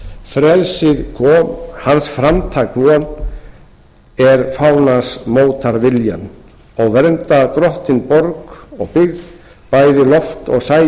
frelsið kom hann framtak von er fánann mótar viljann og verndar drottinn borg og byggð bæði loft og sæinn